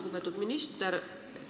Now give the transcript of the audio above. Lugupeetud minister!